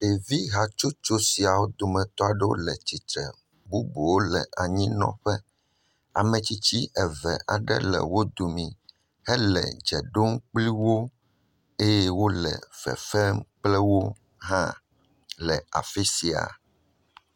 Ɖevi hatsotso siawo dometɔ aɖewo le tsitre. Bubuwo le anyinɔƒe. Ame tsitsi eve aɖe le wo domi hele dze ɖom kpli wo eye wole fefem kple wo hã le afi sia.